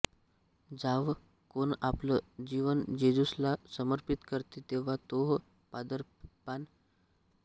जावं कोण आपलं जीवन जेजूसला समर्पित करते तेव्हा तोह पादरीपान घेते